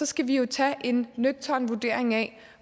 skal vi tage en nøgtern vurdering af